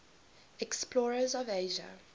explorers of asia